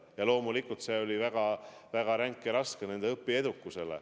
Ja loomulikult see mõjus väga rängalt, väga raskelt nende õppeedukusele.